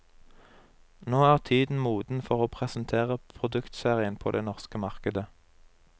Nå er tiden moden for å presentere produktserien på det norske markedet.